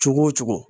Cogo o cogo